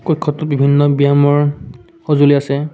বিভিন্ন ব্যয়ামৰ সজুঁলি আছে।